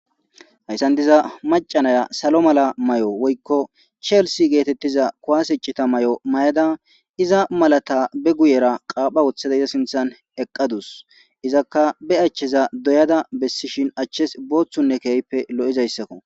Hayssan diza macanaya salo mala may7o woykko cheelsi geetettiza kuwasicita may7o mayada iza malata be guyera qaapha wothada iza sinthan eqqadus izakka be achcheza doyada bessishin achches booththunne keehppe lo7izayssakko